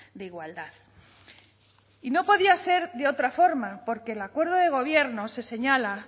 de igualdad y no podía ser de otra forma porque el acuerdo de gobierno se señala